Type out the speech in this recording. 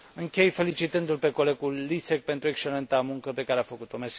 Închei felicitându l pe colegul Lisek pentru excelenta muncă pe care a făcut o.